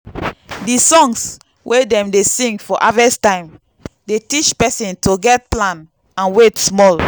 the songs wey dem dey sing for harvest time dey teach person to get plan and wait small.